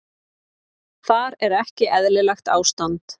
Þar er ekki eðlilegt ástand.